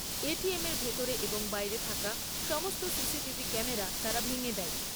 এটিএমের ভেতরে এবং বাইরে থাকা সমস্ত সিসিটিভি ক্যামেরা তারা ভেঙে দেয়।